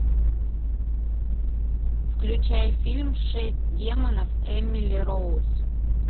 включай фильм шесть демонов эмили роуз